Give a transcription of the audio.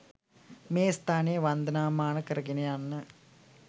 මේ ස්ථානය වන්දනාමාන කරගෙන යන්න.